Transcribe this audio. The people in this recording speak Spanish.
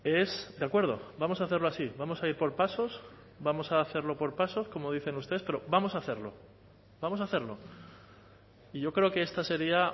es de acuerdo vamos a hacerlo así vamos a ir por pasos vamos a hacerlo por pasos como dicen ustedes pero vamos a hacerlo vamos a hacerlo y yo creo que esta sería